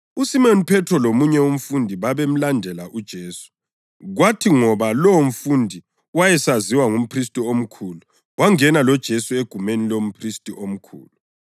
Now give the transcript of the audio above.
USimoni Phethro lomunye umfundi babemlandela uJesu. Kwathi ngoba lowomfundi wayesaziwa ngumphristi omkhulu wangena loJesu egumeni lomphristi omkhulu,